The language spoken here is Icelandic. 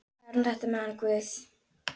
Það er nú þetta með hann guð.